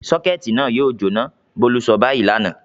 "Sọ́kẹ́tì náà yóò jóná!" Bólú sọ báyìí lánàá.